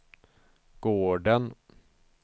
gården